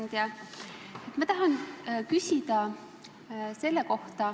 Hea ettekandja!